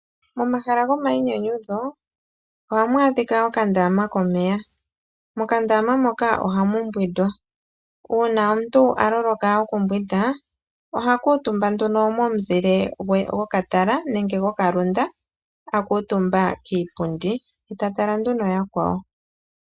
Momahala gomayinyanyudho ohamu adhika okandama komeya, mokandama moka ohamu mbwindwa uuna gumwe aloloka okumbwinda oha kuutumba nduno momuzile gokatala nenge gokalunda akuutumba kiipundi ye eta kala atala yakwawo.